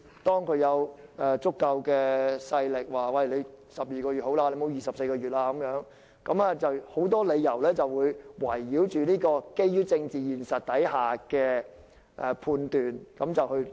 當有足夠勢力說12個月已足夠，不可24個月，一些人便會基於政治現實而作出判斷。